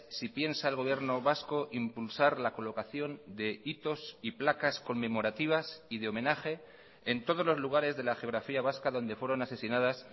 si piensa el gobierno vasco impulsar la colocación de hitos y placas conmemorativas y de homenaje en todos los lugares de la geografía vasca donde fueron asesinadas